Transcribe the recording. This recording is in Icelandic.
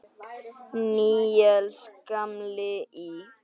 Níels gamli í